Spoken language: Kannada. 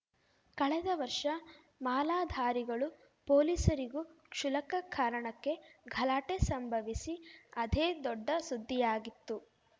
ಕಳೆದ ವರ್ಷ ಮಾಲಾಧಾರಿಗಳೂ ಪೊಲೀಸರಿಗೂ ಕ್ಷುಲ್ಲಕ ಕಾರಣಕ್ಕೆ ಗಲಾಟೆ ಸಂಭವಿಸಿ ಅದೇ ದೊಡ್ಡ ಸುದ್ದಿಯಾಗಿತ್ತು